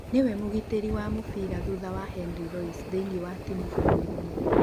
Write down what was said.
Nĩwe mũgitĩri wa mũbira thutha wa Henry Loise thĩinĩ wa timu ya bũrũri.